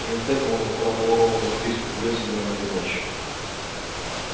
вместо этого он нацарапал рону записку в лес идём этой ночью